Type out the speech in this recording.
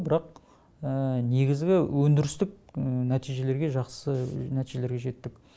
бірақ негізгі өндірістік нәтижелерге жақсы нәтижелерге жеттік